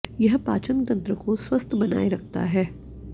यह पाचन तंत्र को स्वस्थ बनाए रखता है